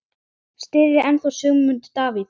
Styðjið þið ennþá Sigmund Davíð?